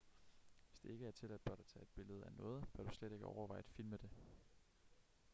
hvis det ikke er tilladt blot at tage et billede af noget bør du slet ikke overveje at filme det